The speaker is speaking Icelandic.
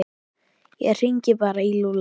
Ég hringi bara í Lúlla.